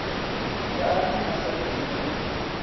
ngani a sa yi u